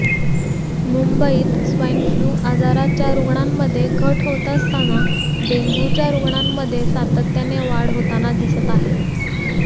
मुंबईत swine flu आजाराच्या रुग्णांमध्ये घट होत असताना डेंग्यूच्या रुग्णांमध्ये सातत्याने वाढ होताना दिसत आहे